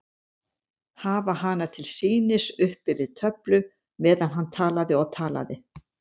Hafa hana til sýnis uppi við töflu meðan hann talaði og talaði.